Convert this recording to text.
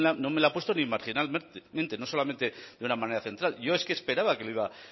no me la ha puesto ni marginalmente no solamente de una manera central yo es que esperaba que lo iba